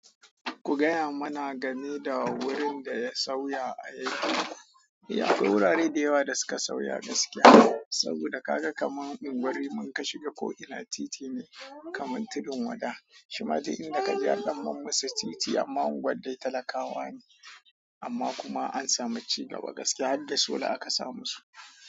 Ku gaya mana game da wurin da ya sauya a yankin. Ya akwai wurare da yawa da suka sauya gaskiya, saboda ka ga kamar in gwari mun ka shiga ko ina titi ne kamar tudun wada, shima ji inda ka je harɗan mun musu titi amma gwaddai talakawa ne, amma kuma an samu cigaba gaskiya har da sola aka samu su.